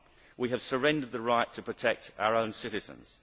We have surrendered the right to protect our own citizens.